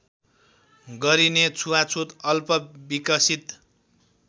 गरिने छुवाछुत अल्पविकसित